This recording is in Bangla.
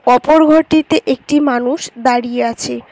অপর ঘরটিতে একটি মানুষ দাঁড়িয়ে আছে।